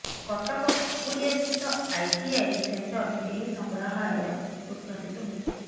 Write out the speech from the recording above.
କଟକ ଖପୁରିଆସ୍ଥିତ ଆଇଟିଆଇ ସେଣ୍ଟରରେ ଏହି ସଂଗ୍ରହାଳୟ ଉଦଘାଟିତ ହୋଇଛି